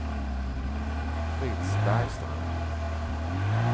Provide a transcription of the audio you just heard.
Fritz Bergstrand